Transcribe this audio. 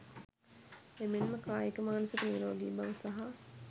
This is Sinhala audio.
එමෙන්ම කායික මානසික නිරෝගී බව සහ